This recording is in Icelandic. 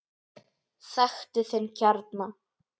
Þekktu þinn kjarna!